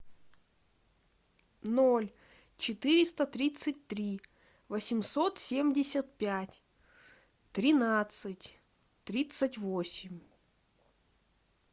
ноль четыреста тридцать три восемьсот семьдесят пять тринадцать тридцать восемь